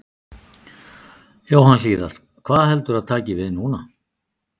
Jóhann Hlíðar: Hvað heldurðu að taki við núna?